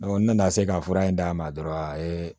ne nana se ka fura in d'a ma dɔrɔn a ye